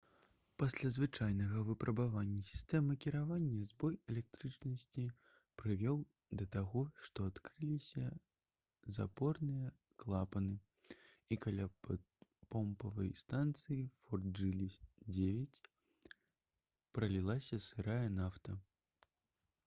пасля звычайнага выпрабавання сістэмы кіравання збой электрычнасці прывёў да таго што адкрыліся запорныя клапаны і каля помпавай станцыі «форт джылі 9» пралілася сырая нафта